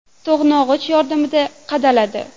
To‘g‘nog‘ich yordamida qadaladi.